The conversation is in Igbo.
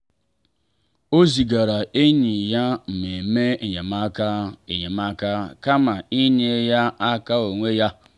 ọ zigaara enyi ya mmemme enyemaka enyemaka kama inye ya aka onwe ya.